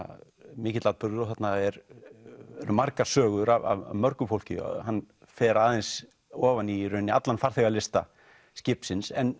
mikill atburður og þarna eru margar sögur af mörgu fólki hann fer aðeins ofan í rauninni allan farþegalista skipsins en